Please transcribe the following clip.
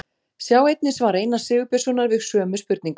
Sjá einnig svar Einars Sigurbjörnssonar við sömu spurningu.